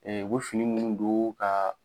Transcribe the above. Ɛɛ u bɛ fini minnu don ka